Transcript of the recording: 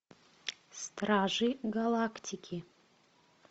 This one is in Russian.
стражи галактики